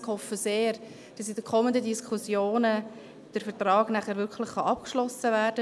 Ich hoffe sehr, in den kommenden Diskussionen könne der Vertrag mit Hansjörg Wyss dann wirklich auch abgeschlossen werden.